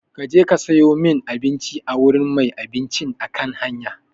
Ka je ka sayo min abinci a wurin mai abincin kan hanya!